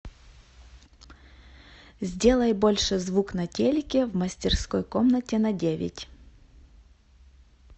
сделай больше звук на телике в мастерской комнате на девять